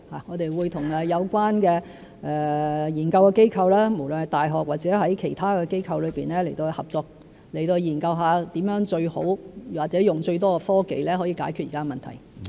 我們會與有關的研究機構，無論是大學或其他機構合作，研究如何以最好或以最多的科技解決現在的問題。